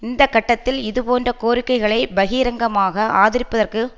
இந்த கட்டத்தில் இதுபோன்ற கோரிக்கைகளை பகிரங்கமாக ஆதரிப்பதற்கு